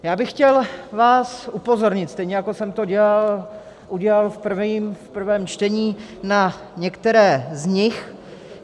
Já bych vás chtěl upozornit, stejně jako jsem to udělal v prvém čtení, na některé z nich.